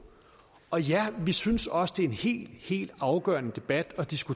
og ja vi synes også det er en helt helt afgørende debat